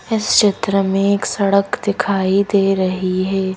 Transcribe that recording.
इस चित्र में एक सड़क दिखाई दे रहीं हैं।